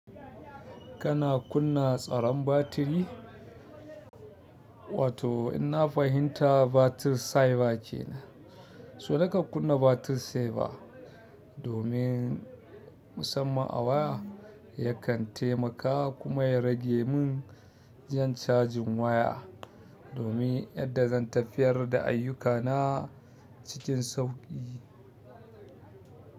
Kana kunna tsaron batiri? Wato in na fahimta battery saver kenan, so nake kunna battery saver domin. Musamman a waya yakan taimaka kuma ya rage mun jan cajin waya domin yadda zan tafiyar da ayyukana cikin sauƙi.